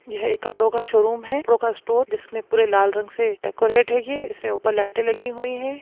यह एक कपड़ों का शोरूम है कपड़ों का स्टोर जिसमे पुरे लाल रंग से डेकोरेट है यह। इसमें उपर लाईटे लगी हुई है।